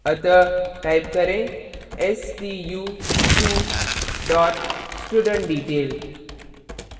अतः type करें stu2 studentdetail